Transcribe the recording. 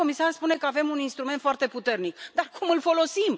Doamna comisar spune că avem un instrument foarte puternic, dar cum îl folosim?